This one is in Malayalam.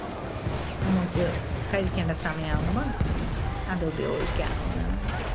നമുക്ക് കഴിക്കണ്ട സമയം ആവുമ്പം അത് ഉപയോഗിക്കാവുന്നതാണ്.